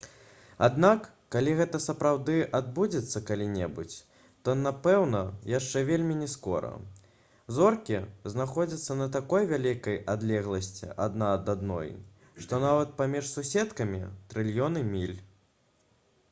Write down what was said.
аднак калі гэта сапраўды адбудзецца калі-небудзь то напэўна яшчэ вельмі не скора. зоркі знаходзяцца на такой вялікай адлегласці адна ад адной што нават паміж «суседкамі» трыльёны міль